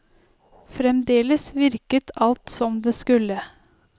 Fremdeles virket alt som det skulle.